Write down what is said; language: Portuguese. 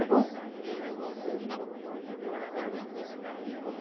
É bom?